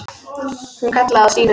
Hún kallaði á Stínu.